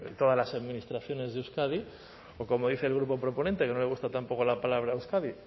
todas las administraciones de euskadi o como dice el grupo proponente que no le gusta tampoco la palabra euskadi